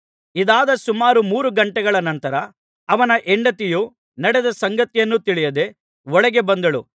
ಇದಾದ ಸುಮಾರು ಮೂರು ಗಂಟೆಗಳ ನಂತರ ಅವನ ಹೆಂಡತಿಯು ನಡೆದ ಸಂಗತಿಯನ್ನು ತಿಳಿಯದೆ ಒಳಗೆ ಬಂದಳು